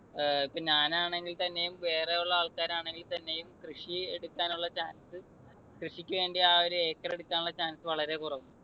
അഹ് ഇപ്പോ ഞാനാണെങ്കിൽത്തന്നെയും വേറെയുള്ള ആൾക്കാരാണെങ്കിൽ തന്നെയും കൃഷി എടുക്കാനുള്ള chance കൃഷിക്കുവേണ്ടി ആ ഒരു acre എടുക്കാനുള്ള chance വളരെ കുറവാണ്.